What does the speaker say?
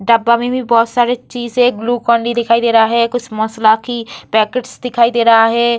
डब्बा में भी बहुत सारे चीज है एक ग्लूकोंडी दिखाई दे रहा है कुछ मसाला की पैकेटस दिखाई दे रहा है।